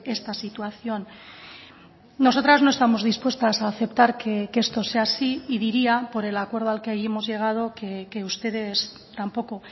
esta situación nosotras no estamos dispuestas a aceptar que esto sea así y diría por el acuerdo al que hemos llegado que ustedes tampoco